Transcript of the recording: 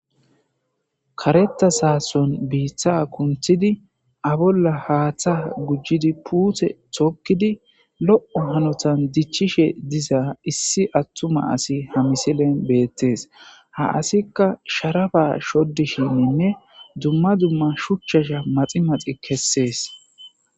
Karetta saason biiththa kunthidi abolla haaththa gujjidi puuthe tokkidi lo'o hanotan dichchishe diza issi attuma asi ha misilen beettes ha asikka sharaba shoddi shinninne dumma dumma shuchchasha maxi maxi kessees.